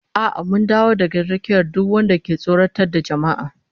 A'a mun dawo rakiyar duk wanda ke tsoratar da jama'a